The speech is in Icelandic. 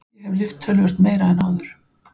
Ég hef lyft töluvert meira en áður.